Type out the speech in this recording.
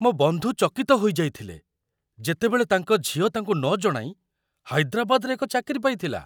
ମୋ ବନ୍ଧୁ ଚକିତ ହୋଇଯାଇଥିଲେ ଯେତେବେଳେ ତାଙ୍କ ଝିଅ ତାଙ୍କୁ ନଜଣାଇ ହାଇଦ୍ରାବାଦରେ ଏକ ଚାକିରି ପାଇଥିଲା।